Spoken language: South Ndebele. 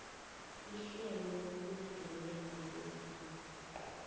ihlelo lokulingelelwa kweenhlahla